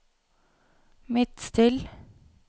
Midtstill